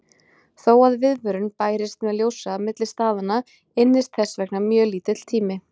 Þó að viðvörun bærist með ljóshraða milli staðanna ynnist þess vegna mjög lítill tími.